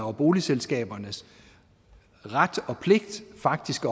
og boligselskabernes ret og pligt faktisk